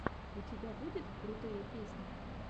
у тебя будет крутые песни